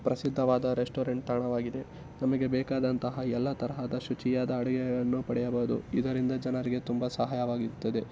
ಪ್ರಸಿಧ್ಧವಾದ restaurant ತಾಣವಾಗಿದೆ. ನಮಗೆ ಬೇಕಾದಂತಹ ಎಲ್ಲಾ ತರಹದ ಶುಚಿಯಾದ ಅಡುಗೆಗಳನ್ನು ಪಡೆಯಬಹುದು. ಇದರಿಂದ ಜನರಿಗೆ ತುಂಬಾ ಸಹಾಯವಾಗಿರುತ್ತದೆ .